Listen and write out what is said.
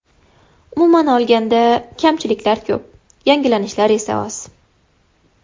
Umuman olganda, kamchiliklar ko‘p, yangilanishlar esa oz.